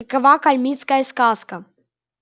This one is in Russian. какова калмыцкая сказка